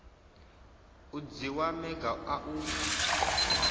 u dzhiwa maga a u